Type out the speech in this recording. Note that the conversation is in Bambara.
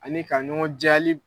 Ani ka ɲɔgɔn diya